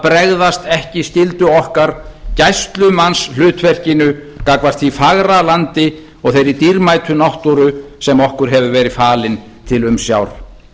bregðast ekki skyldu okkar gæslumannshlutverkinu gagnvart því fagra landi og þeirri dýrmætu náttúru sem okkur hefur verið falin til umsjár